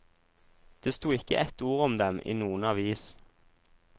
Det sto ikke ett ord om dem i noen avis.